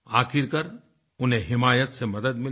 आखिरकार उन्हें हिमायत से मदद मिली